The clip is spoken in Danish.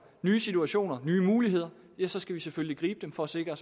nye situationer nye muligheder så skal vi selvfølgelig gribe dem for at sikre